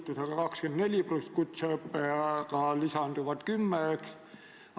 Probleem ongi just selles, et Tartu Ülikool, kus seni kõrgharidusega viipekeeletõlke koolitati, lõpetas vastuvõtu sellele erialale.